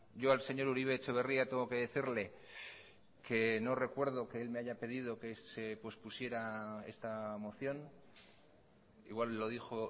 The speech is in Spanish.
yo al señor uribe etxebarria tengo que decirle que no recuerdo que él me haya pedido que se pospusiera esta moción igual lo dijo